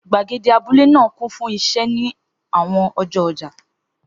Gbàgede abúlé náà kún fún iṣẹ́ ní àwọn ọjọ́ ọjà.